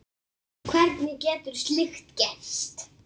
Hvernig getur slíkt gerst?